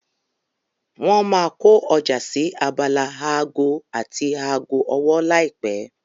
Wọ́n máa kó ọjà sí abala aago àti aago ọwọ́ láìpẹ́.